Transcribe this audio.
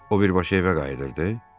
O birbaşa evə qayıdırdı.